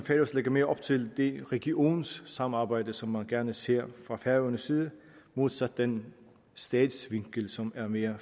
lægger mere op til det regionssamarbejde som man gerne ser fra færøernes side modsat den statsvinkel som er mere